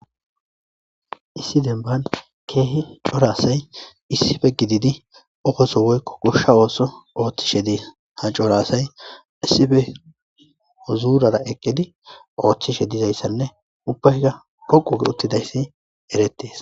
Issi dembban keehi cora asayi issipe gididi qofaso woykko goshsha ooso oothishe de'esi. Ha cora asayi oothishe dizayssane ubbaykka dhoqqu giidi uttidayssi eretees.